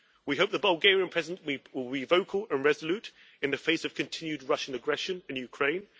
We hope the Bulgarian Presidency will be vocal and resolute in the face of continued Russian aggression in Ukraine.